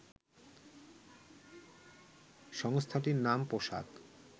সংস্থাটির নাম, পোশাক